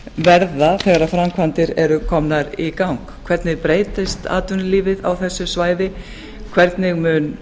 verða þegar framkvæmdir eru komnar í gang hvernig breytist atvinnulífið á þessu svæði hvernig mun